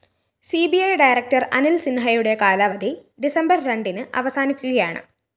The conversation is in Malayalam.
C B I director Anil‍ സിന്‍ഹയുടെ കാലാവധി ഡിസംബര്‍ രണ്ടിന് അവസാനിക്കുകയാണ്